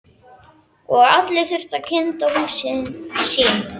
Og allir þurftu að kynda húsin sín.